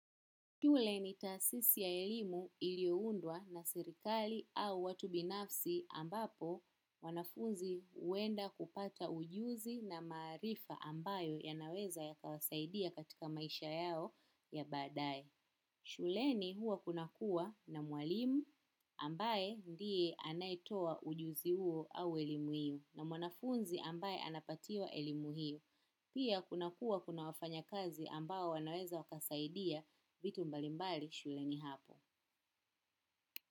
Tule ni taasisi ya elimu iliyoundwa na serikali au watu binafsi ambapo wanafunzi huenda kupata ujuzi na maarifa ambayo ya naweza yakawasaidia katika maisha yao ya baadaye. Shuleni huwa kuna kuwa na mwalimu ambaye ndiye anayetoa ujuzi huo au elimu hiyo na mwanafunzi ambaye anapatiwa elimu hiyo. Pia kunakua kuna wafanya kazi ambao wanaweza wakasaidia vitu mbalimbali shuleni hapo.